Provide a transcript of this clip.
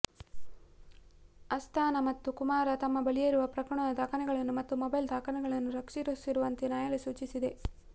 ಅಸ್ಥಾನಾ ಮತ್ತು ಕುಮಾರ್ ತಮ್ಮ ಬಳಿಯಿರುವ ಪ್ರಕರಣದ ದಾಖಲೆಗಳನ್ನು ಮತ್ತು ಮೊಬೈಲ್ ದಾಖಲೆಗಳನ್ನು ರಕ್ಷಿಸಿಡುವಂತೆ ನ್ಯಾಯಾಲಯ ಸೂಚಿಸಿದೆ